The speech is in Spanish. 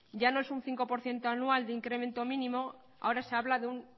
ya no es un cinco por ciento anual de incremento mínimo ahora se habla de un